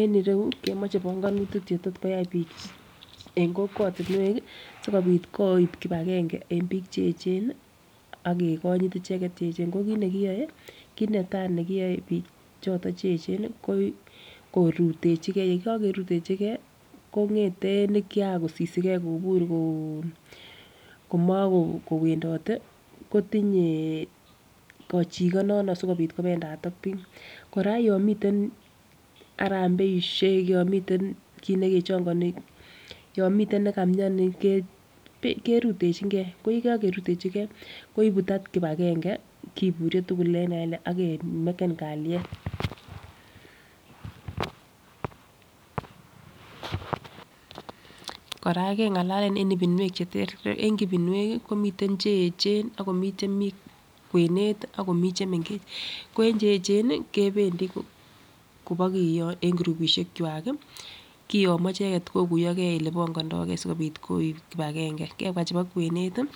En irou kemoche bongonutik chetor koyai bik en kokwetunwek kii sikopit koib kipagenge en bik cheyechen nii ak kekonyit icheket cheyechen ko kit nekiyoe kit netai nekiyoe bik choton cheyechen ko korutechigee yekokerutechigee kongeten nikia kosisigee kobur Kokomo ko wedote kotinyee kochiko nono sikopit kopendat ak bik. Koraa yon miten arambeishek yon miten kit nekechongoni yon miten nekomioni kebe kerutechi ko yekokerutechigee koibun that kipagenge koburyo tukuk en kipagenge ak kemeken kaliet. Koraa kengalalen en ipinuek cheterter en ipinuek kii komiten cheyechen akomii chemii kwenet tii akomii chemengech, ko en cheyechen kependii kobokiyo en kurupishek kwa kii kiyomo ichek kokuyogee ole ponkondogee sikopit koib kipagenge. Kebwa chebo kwenet tii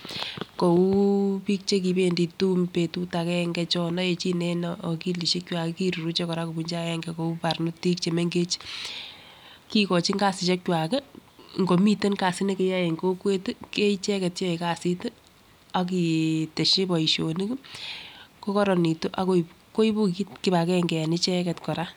kou bik chekipendii tum betut agenge cho oyechin en okilishek kwa kiruruche Koraa kibunchi agenge kou barnotik chemengech. Kikochin kasishek kwak kikimiten kasi nekeyoe en kokwet tii ko icheket cheyoe kasit tii ak kiteshi boishonik kikmko koronitu akoibe koibun kit kipagenge en icheket Koraa.